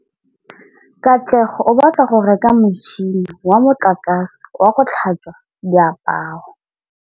Katlego o batla go reka motšhine wa motlakase wa go tlhatswa diaparo.